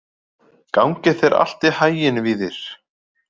Gangi þér allt í haginn, Víðir.